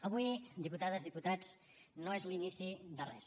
avui diputades diputats no és l’inici de res